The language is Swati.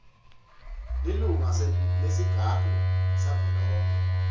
lilunga lesigungu savelonkhe